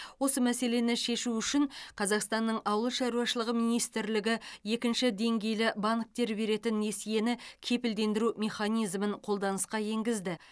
осы мәселені шешу үшін қазақстанның ауыл шаруашылығы министрлігі екінші деңгейлі банктер беретін несиені кепілдендіру механизмін қолданысқа енгізді